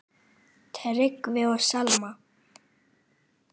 Tryggvi og Selma.